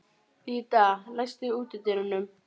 Lydia, læstu útidyrunum.